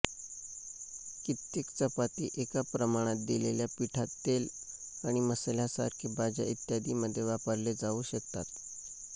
कित्येक चपाती एका प्रमाणात दिलेल्या पिठात तेल आणि मसाल्यासारखे भाज्या इत्यादी मध्ये वापरले जाऊ शकतात